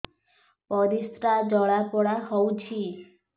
ପରିସ୍ରା ଜଳାପୋଡା ହଉଛି